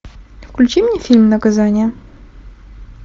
включи мне фильм наказание